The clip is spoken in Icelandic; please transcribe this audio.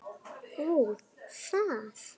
Ó, það!